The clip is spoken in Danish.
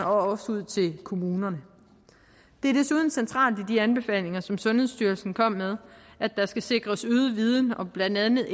og også ud til kommunerne det er desuden centralt i de anbefalinger som sundhedsstyrelsen kom med at der skal sikres øget viden om blandt andet